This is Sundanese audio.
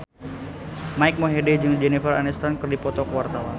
Mike Mohede jeung Jennifer Aniston keur dipoto ku wartawan